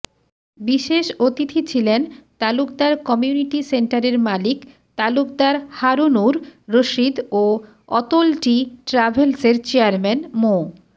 বিশেষ অতিথি ছিলেন তালুকদার কমিউনিটি সেন্টারের মালিক তালুকদার হারুনুর রশিদ ও অতোলটি ট্রাভেলসের চেয়ারম্যান মো